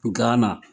Gana